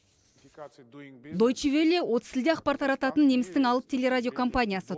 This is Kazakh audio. доучи велле отыз тілде ақпар тарататын немістің алып телерадиокомпаниясы